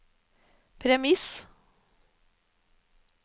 premiss